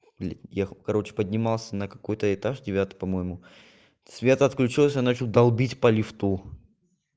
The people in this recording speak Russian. блядь я короче поднимался на какой-то этаж девятый по-моему свет отключился начал долбить по лифту